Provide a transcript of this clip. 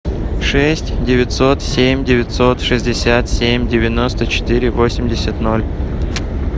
шесть девятьсот семь девятьсот шестьдесят семь девяносто четыре восемьдесят ноль